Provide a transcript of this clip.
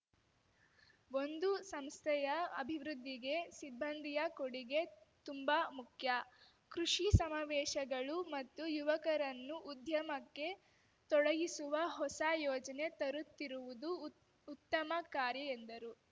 ಒಂದು ಸಂಸ್ಥೆಯ ಅಭಿವೃದ್ಧಿಗೆ ಸಿಬ್ಬಂದಿಯ ಕೊಡಿಗೆ ತುಂಬಾ ಮುಖ್ಯ ಕೃಷಿ ಸಮಾವೇಶಗಳು ಮತ್ತು ಯುವಕರನ್ನು ಉದ್ಯಮಕ್ಕೆ ತೊಡಗಿಸುವ ಹೊಸ ಯೋಜನೆ ತರುತ್ತಿರುವುದು ಉತ್ ಉತ್ತಮ ಕಾರ್ಯ ಎಂದರು